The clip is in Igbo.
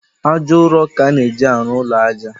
Ájá ụrọ ka a na-eji arụ ụlọ ájá